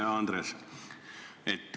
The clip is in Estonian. Hea Andres!